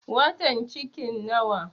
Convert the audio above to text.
Watan cikin nawa?